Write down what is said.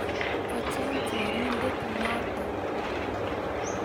Ocheng chorindet noto